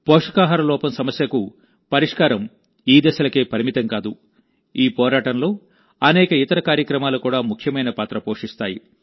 పోషకాహార లోపం సమస్యకు పరిష్కారం ఈ దశలకే పరిమితం కాదు ఈ పోరాటంలోఅనేక ఇతర కార్యక్రమాలు కూడా ముఖ్యమైన పాత్ర పోషిస్తాయి